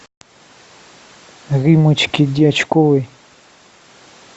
риммочке дьячковой